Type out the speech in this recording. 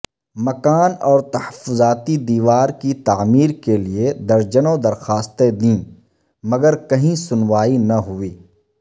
مکان اور تحفظاتی دیوار کی تعمیر کیلئے درجنوں درخواستیں دیں مگر کہیں سنوائی نہ ہوئی